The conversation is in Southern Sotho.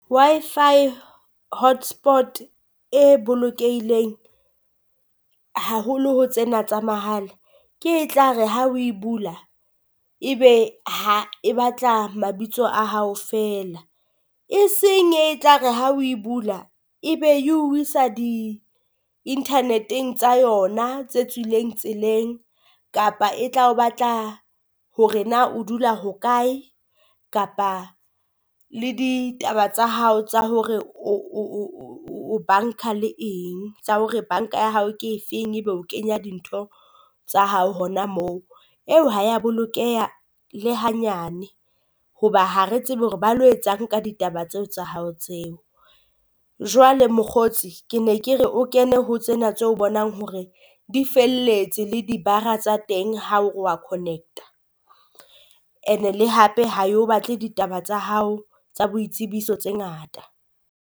Wi-Fi hotspots e bolokehileng haholo ho tsena tsa mahala, ke e tla re ha o e bula ebe ha e batla mabitso a hao feela. Eseng e e tla re ha o e bula ebe e o isa di internet-eng tsa yona tse tswileng tseleng, kapa e tla o batla hore na o dula hokae kapa le ditaba tsa hao tsa hore o banka le eng tsa hore banka ya hao ke efeng. Ebe o kenya dintho tsa hao hona moo, eo Ha ya bolokeha le hanyane hoba ha re tsebe hore ba lo etsang ka ditaba tseo tsa hao tseo. Jwale mokgotsi ke ne ke re o kene ho tsena tse o bonang hore di felletse le di bar-ra tsa teng ha o re wa connect-a, and-e le hape ha e o batle ditaba tsa hao tsa boitsebiso tse ngata.